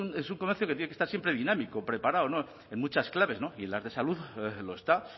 es un comercio que tiene que estar siempre dinámico preparado muchas claves y en las de salud lo está